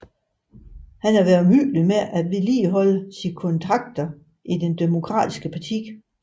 Han havde været omhyggelig med at vedligeholde sine kontakter i det Demokratiske parti